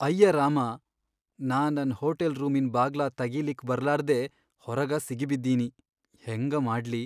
ಅಯ್ಯ ರಾಮಾ, ನಾ ನನ್ ಹೋಟಲ್ ರೂಮಿನ್ ಬಾಗ್ಲಾ ತಗೀಲಿಕ್ ಬರ್ಲಾರ್ದೇ ಹೊರಗ ಸಿಗಿಬಿದ್ದೀನಿ ಹೆಂಗ ಮಾಡ್ಲಿ.